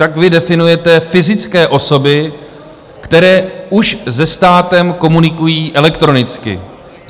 Tak vy definujete fyzické osoby, které už se státem komunikují elektronicky.